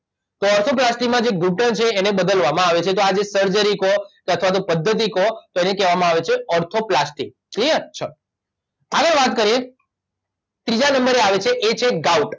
તો ઓર્થોપ્લાસ્ટીમાં જે ઘૂંટણ છે એને બદલવામાં આવે છે તો આ જે સર્જરી કો કે અથવા તો પધ્ધતિ કો તો એને કહેવામાં આવે છે ઓર્થોપ્લાસ્ટી ક્લીઅર ચલો આગળ વાત કરીએ ત્રીજા નંબરે આવે છે એ છે ગાઉટ